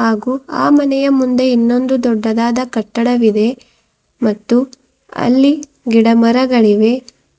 ಹಾಗೂ ಆ ಮನೆಯ ಮುಂದೆ ಇನ್ನೊಂದು ದೊಡ್ಡದಾದ ಕಟ್ಟಡವಿದೆ ಮತ್ತು ಅಲ್ಲಿ ಗಿಡಮರಗಳಿವೆ